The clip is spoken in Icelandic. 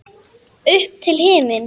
Upp til himins.